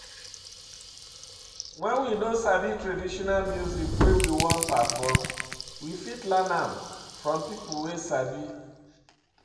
When we noo sabi di traditional music wey we wan perform we fit learn am from pipo wey sabi